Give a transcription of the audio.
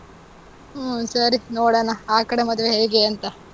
ಹ್ಮ್, ಸರಿ, ನೋಡಣಾ. ಆ ಕಡೆ ಮದ್ವೆ ಹೇಗೆಂತ.